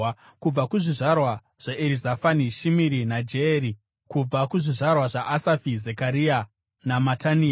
kubva kuzvizvarwa zvaErizafani, Shimiri naJeyeri; kubva kuzvizvarwa zvaAsafi, Zekaria naMatania;